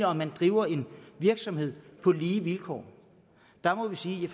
om de driver en virksomhed på lige vilkår jeg må sige at